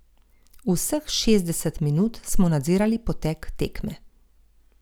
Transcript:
Vseh šestdeset minut smo nadzirali potek tekme.